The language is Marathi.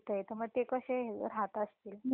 राहत असतील तेच ना.